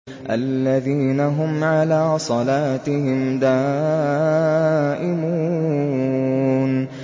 الَّذِينَ هُمْ عَلَىٰ صَلَاتِهِمْ دَائِمُونَ